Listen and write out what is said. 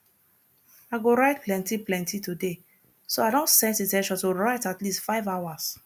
i go write plenty plenty today so i don set in ten tion to write at least five hours